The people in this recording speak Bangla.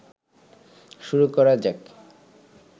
শুরু করা যাক